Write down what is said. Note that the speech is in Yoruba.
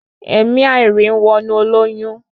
Ẹ̀mi àìrí ń wọnú olóyún